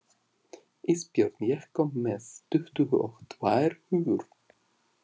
Ísbjörn, ég kom með tuttugu og tvær húfur!